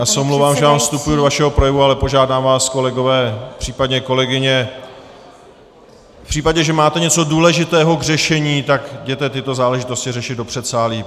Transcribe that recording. Já se omlouvám, že vám vstupuji do vašeho projevu, ale požádám vás, kolegové, případně kolegyně, v případě, že máte něco důležitého k řešení, tak jděte tyto záležitosti řešit do předsálí.